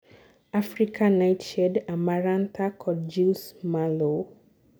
African nightshade, Amarantha kod jew's mallow